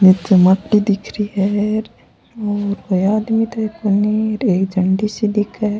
निचे मट्टी दिख रही है और कोई आदमी तो कोनी एक झंडी सी दिखे है।